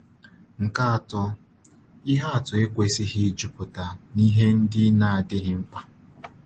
Nke atọ, ihe atụ ekwesịghị ịjupụta n’ihe ndị na-adịghị mkpa. um